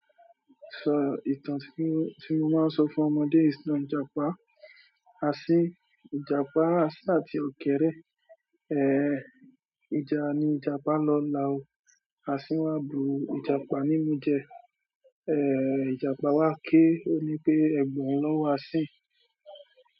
Sọ ìtàn tí mo ti máa ń sọ fún ọmọdé ìsìná ìjàpá. Asin, ìjàpá, asin àti ọkẹrẹ. Eh, ìjà ni Ìjàpá lọ la o. Asin wa bu ìjàpá nimu je. Eh, Ìjàpá wá ké ó ní pé "Ẹ̀gba hun lọ wá Asín".